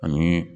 Ani